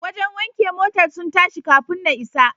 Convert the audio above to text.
Wajen wanke motar sun tashi kafun na isa.